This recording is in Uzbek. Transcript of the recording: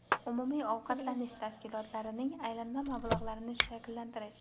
umumiy ovqatlanish tashkilotlarining aylanma mablag‘larini shakllantirish;.